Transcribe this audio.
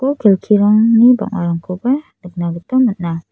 skul kelkirangni bang·arangkoba nikna gita man·a.